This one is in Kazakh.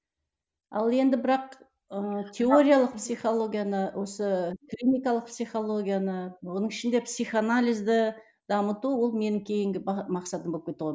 ал енді бірақ ыыы теориялық психологияны осы клиникалық психологияны оның ішінде психоанализді дамыту ол менің кейінгі мақсатым болып кетті ғой